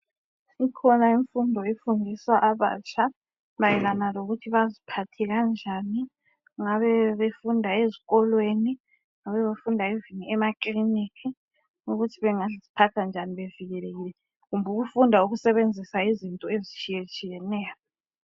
Ikhona imfundo efundisa abatsha mayelana lokuthi baziphathe kanjani, ngabe befunda esikolweni kumbe ngabe befunda emaklinika ukuthi bangaziphatha njani bevikelekile, kumbe ukufunda besebenzisa izinto ezitshiyetshiyeneyo.